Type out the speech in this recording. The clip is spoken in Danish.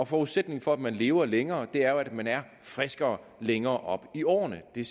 forudsætningen for at man lever længere er jo at man er friskere længere op i årene det er